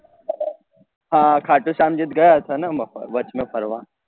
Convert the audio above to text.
હા હા ખાટું શ્યામ જી ગયા હતા ને અમ વચ્ચે ફરવા